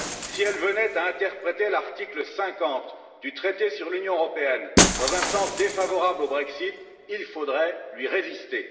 Si elle venait à interpréter l'article 50 du traité sur l'Union européenne dans un sens défavorable au Brexit, il faudrait lui résister.